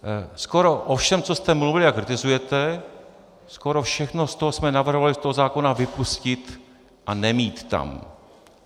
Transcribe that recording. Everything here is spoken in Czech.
Skoro o všem, co jste mluvili a kritizujete, skoro všechno z toho jsme navrhovali z toho zákona vypustit a nemít tam.